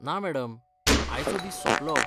ना मॅडम, आयचो दीस सोंपलो.